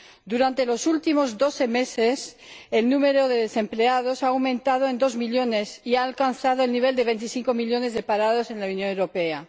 Durante los últimos doce meses, el número de desempleados ha aumentado en dos millones y ha alcanzado el nivel de 25 millones de parados en la Unión Europea.